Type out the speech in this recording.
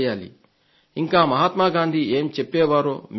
ఇంకా మహాత్మ గాంధీ ఏం చెప్పేవారో మీకు తెలుసు